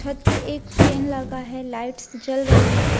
छत पे एक फेन लगा है लाइट्स जल रही है।